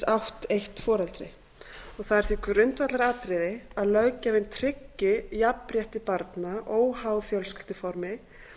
átt eitt foreldri það er því grundvallaratriði að löggjafinn tryggi jafnrétti barna óháð fjölskylduformi